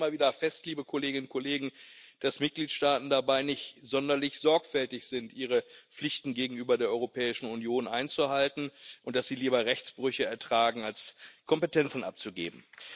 Wir stellen immer wieder fest, liebe Kolleginnen und Kollegen, dass Mitgliedstaaten dabei nicht sonderlich sorgfältig sind, ihre Pflichten gegenüber der Europäischen Union einzuhalten, und dass sie lieber Rechtsbrüche ertragen als Kompetenzen abzugeben.